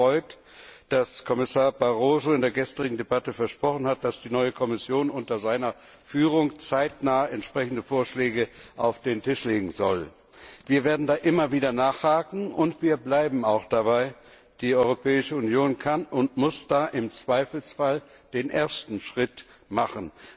Uns freut, dass Kommissar Barroso in der gestrigen Debatte versprochen hat, dass die neue Kommission unter seiner Führung zeitnah entsprechende Vorschläge auf den Tisch legen soll. Wir werden da immer wieder nachhaken, und wir bleiben auch dabei, die Europäische Union kann und muss im Zweifelsfall den ersten Schritt machen.